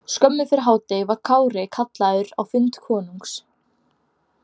Skömmu fyrir hádegi var Kári kallaður á fund konungs.